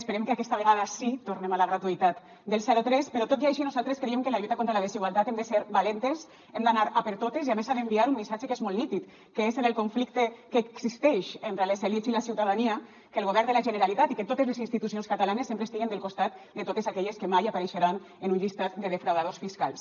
esperem que aquesta vegada sí tornem a la gratuïtat del zero tres però tot i així nosaltres creiem que en la lluita contra la desigualtat hem de ser valentes hem d’anar a per totes i a més s’ha d’enviar un missatge que és molt nítid que és en el conflicte que existeix entre les elits i la ciutadania que el govern de la generalitat i que totes les institucions catalanes sempre estiguen al costat de totes aquelles que mai apareixeran en un llistat de defraudadors fiscals